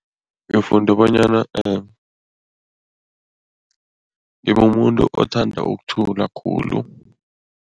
Ngifunde bonyana ngimumuntu othanda ukuthula khulu.